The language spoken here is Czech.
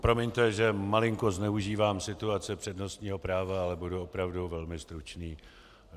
Promiňte, že malinko zneužívám situace přednostního práva, ale budu opravdu velmi stručný.